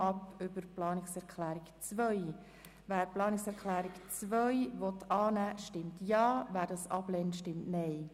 Wer der Planungserklärung 3 zustimmt, stimmt Ja, wer diese ablehnt, stimmt Nein.